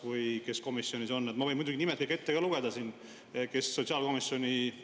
Võib-olla sotsiaaldemokraadid leiavad selleks kas või enda esindaja, kes seal komisjonis on.